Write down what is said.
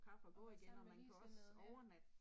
Og være sammen med ligesindede ja